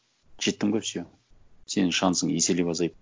жеттің бе все сенің шансың еселеп азайды